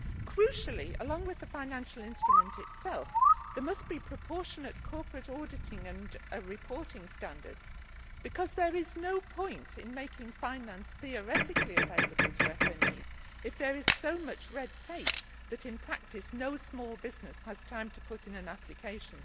Crucially, along with the financial instrument itself, there must be proportionate corporate auditing and reporting standards, because there is no point in making finance theoretically available to SMEs if there is so much red tape that in practice no small business has time to put in an application.